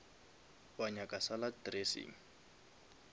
wa nyaka salad dressing